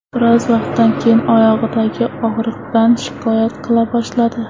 Biroz vaqtdan keyin oyog‘idagi og‘riqdan shikoyat qila boshladi.